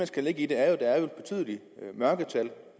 skal lægge i det er jo at der er betydelige mørketal